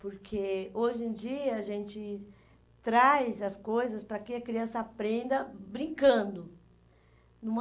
Porque hoje em dia a gente traz as coisas para que a criança aprenda brincando.